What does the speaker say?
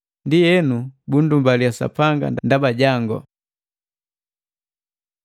Ndienu, bundumbaliya Sapanga ndaba jangu.